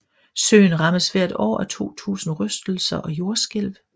Søen rammes hvert år af 2000 rystelser og jordskælv